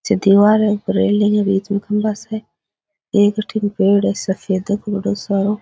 जे दिवार है ऊपर रेलिंग है बीच में खम्भा स एक अठीन पेड़ है सफेद बड़ो सारो।